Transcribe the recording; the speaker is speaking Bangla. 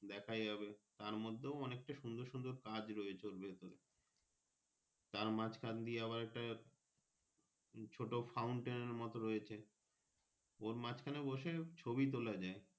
দেখা যাবে তার মধ্যেও অনেকটা সুন্দর সুন্দর কাজ রয়েছে ওর ভিতর এ তার মাঝখান দিয়ে আবার তার ছোট Fountain এর মতো রয়েছে ওর মাঝখানে বসে ছবি তোলা যাই।